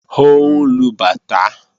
Ó ń lu bàtá